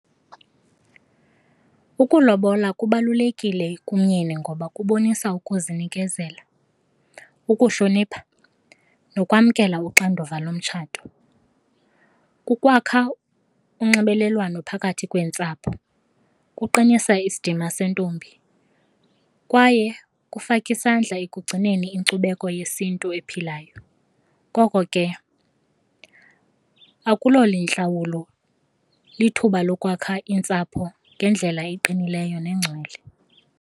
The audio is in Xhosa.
Ukulobola kubalulekile kumyeni ngoba kubonisa ukuzinikezela, ukuhlonipha nokwamkela uxanduva lomtshato. Kukwakha unxibelelwano phakathi kweentsapho, kuqinisa isidima sentombi kwaye kufaka isandla ekugcineni inkcubeko yesiNtu ephilayo. Ngoko ke , lithuba lokwakha iintsapho ngendlela eqinileyo nengcwele.